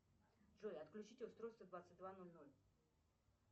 джой отключить устройство в двадцать два ноль ноль